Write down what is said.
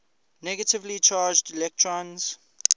negatively charged electrons